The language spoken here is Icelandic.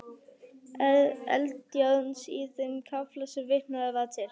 Eldjárns í þeim kafla sem vitnað var til.